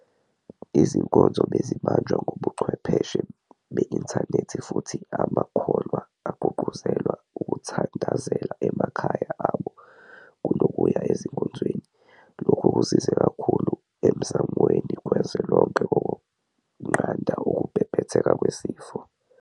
Izinkonzo bezibanjwa ngobuchwepheshe beinthanethi futhi amakholwa agqugquzelwa ukuthandazela emakhaya abo kuno kuya ezinkonzweni. Lokhu kusize kakhulu emzamweni kazwelonke wokunqanda ukubhebhetheka kwesifo.